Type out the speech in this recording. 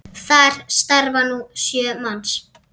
Þar starfa nú sjö manns.